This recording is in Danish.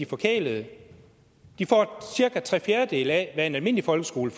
forkælede de få cirka tre fjerdedele af hvad en almindelig folkeskole